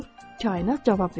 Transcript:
Kainat cavab verir.